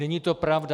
Není to pravda.